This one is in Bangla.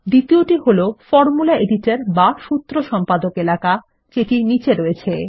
দ্বিতীয়টি হল ফরমুলা এডিটর বা সূত্র সম্পাদক এলাকা যেটি নীচে আছে